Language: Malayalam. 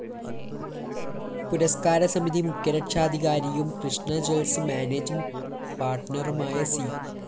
പുരസ്‌കാരസമിതി മുഖ്യരക്ഷാധികാരിയും കൃഷ്ണ ജ്വൽസ്‌ മാനേജിങ്‌ പാര്‍ട്ണറുമായ സി